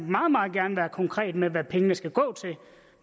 meget gerne være konkret med hvad pengene skal gå til